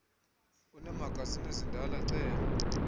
uneemagazini ezindala cela